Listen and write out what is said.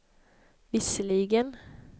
visserligen